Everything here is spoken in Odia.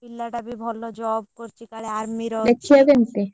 ପିଲାଟା ବି ଭଲ job କରୁଛି କାଳେ army ରେ ଅଛି ଦେଖିଆକୁ କେମିତି?